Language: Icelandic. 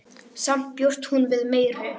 Samt bjóst hún við meiru.